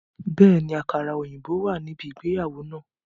Bẹ́ẹ̀ni, àkàrà òyìnbó wà ní ibi ìgbéyàwó náà